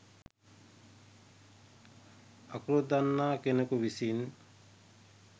අකුරු දන්නා කෙනෙකු විසින්